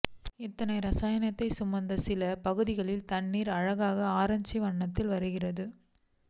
இத்தனை ரசாயனத்தையும் சுமந்து சில பகுதிகளில் தண்ணீர் அழகான ஆரஞ்சு வண்ணத்தில் வருகிறது